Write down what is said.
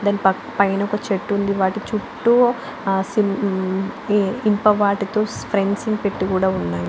పైన ఒక చెట్టు ఉంది దాని చుట్టూ ఇనుపతో స్ప్రింగ్స్ కూడా పెట్టి ఉన్నారు.